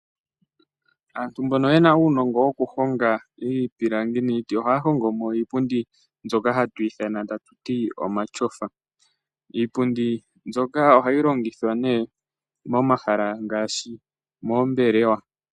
Aantu mbono ye na uunongo wokuhonga iipilangi niiti ohaya hongo mo iipundi mbyoka hatu ithana tatu ti omatyofa. Iipundi mbyoka ohayi longithwa nduno momahala ngaashi moombelewa.